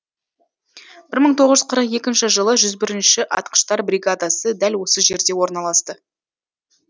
бір мың тоғыз жүз қырық екінші жылы жүз бірінші атқыштар бригадасы дәл осы жерде орналасты